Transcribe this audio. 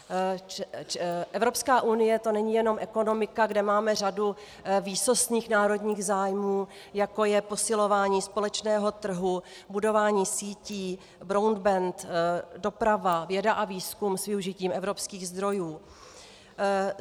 Evropská unie, to není jenom ekonomika, kde máme řadu výsostných národních zájmů, jako je posilování společného trhu, budování sítí, broadband, doprava, věda a výzkum s využitím evropských zdrojů.